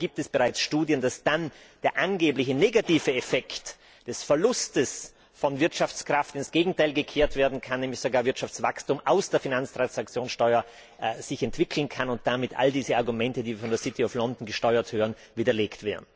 Dafür gibt es bereits Studien, dass dann der angeblich negative Effekt des Verlustes von Wirtschaftskraft ins Gegenteil gekehrt werden kann, nämlich sich sogar Wirtschaftswachstum aus der Finanztransaktionssteuer entwickeln kann und damit all diese Argumente, die wir, von der City of London gesteuert, hören, widerlegt wären.